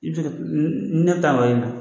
I be se ka,n ne be taa wa ma